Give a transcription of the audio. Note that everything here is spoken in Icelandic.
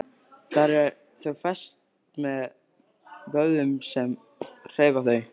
Þar eru þau fest með vöðvum sem hreyfa þau.